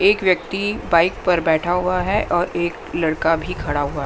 एक व्यक्ति बाइक पर बैठा हुआ है और एक लड़का भी खड़ा हुआ--